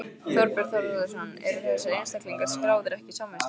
Þorbjörn Þórðarson: Eru þessir einstaklingar skráðir ekki í samvistum?